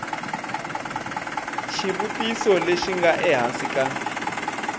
xivutiso lexi nga ehansi ka